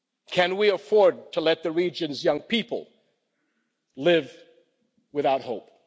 Can we afford to let the region's young people live without hope?